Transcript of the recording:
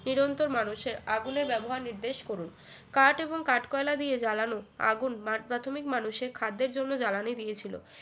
চিরন্তন মানুষের আগুনের ব্যবহার নির্দেশ করুন কাঠ এবং কাঠ কয়লা দিয়ে জ্বালানো আগুন প্রাক প্রাথমিক মানুষের খাদ্যের জন্য জ্বালানি দিয়েছিল